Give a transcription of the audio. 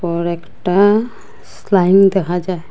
আর একটা স্লাইম দেখা যায়।